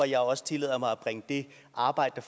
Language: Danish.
jeg også tillader mig at bringe det arbejde